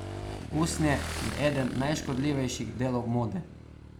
Usnje je eden najškodljivejših delov mode.